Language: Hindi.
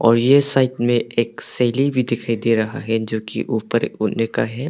और ये साइड में एक सीढ़ी भी दिखाई दे रहा है जो कि ऊपर का है।